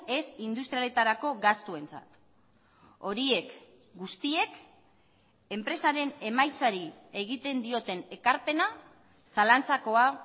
ez industrialetarako gastuentzat horiek guztiek enpresaren emaitzari egiten dioten ekarpena zalantzakoa